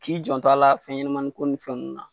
K'i janto a la fɛn ɲanamanin ko ni fɛnw na .